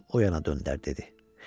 Üzünü oyana döndərdi dedi.